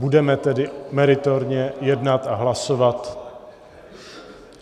Budeme tedy meritorně jednat a hlasovat...